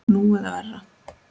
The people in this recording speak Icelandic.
Nú eða verr.